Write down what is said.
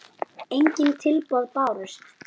Engin tilboð bárust.